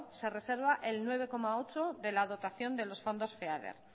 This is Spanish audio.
se reserva el nueve coma ocho de la dotación de los fondos feader